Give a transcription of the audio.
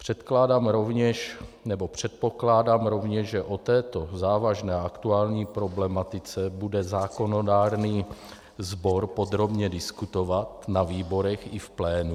Předpokládám rovněž, že o této závažné a aktuální problematice bude zákonodárný sbor podrobně diskutovat na výborech i v plénu.